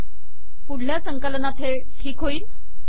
पुढल्या संकलनात हे ठीक होईल